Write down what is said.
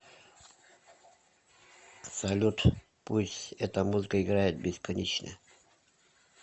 салют пусть эта музыка играет бесконечно